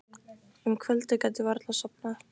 Um kvöldið gat ég varla sofnað.